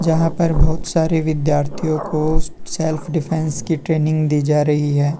जहां पर बहुत सारे विद्यार्थियों को सेल्फ डिफेंस की ट्रेनिंग दी जा रही है।